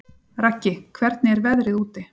Raggi, hvernig er veðrið úti?